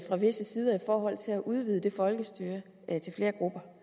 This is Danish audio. fra visse sider i forhold til at udvide det folkestyre til flere grupper